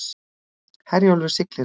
Herjólfur siglir ekki